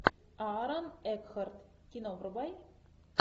аарон экхарт кино врубай